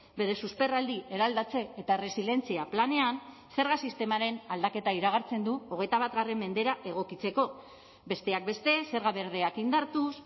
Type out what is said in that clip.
bere susperraldi eraldatze eta erresilientzia planean zerga sistemaren aldaketa iragartzen du hogeita bat mendera egokitzeko besteak beste zerga berdeak indartuz